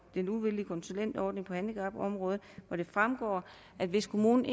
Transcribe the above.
den uvildige konsulentordning på handicapområdet at hvis kommunen